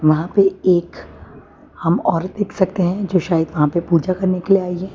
वहां पे एक हम औरत देख सकते हैं जो शायद वहां पे पूजा करने के लिए आई है।